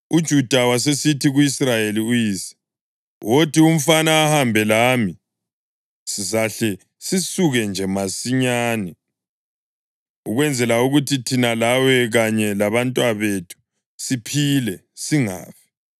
UJuda wasesithi ku-Israyeli uyise, “Wothi umfana ahambe lami, sizahle sisuke nje masinyane, ukwenzela ukuthi thina lawe kanye labantwabethu siphile, singafi.